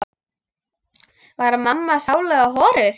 Var mamma sáluga horuð?